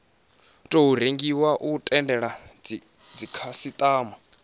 tou rengiwa u tendela dzikhasitama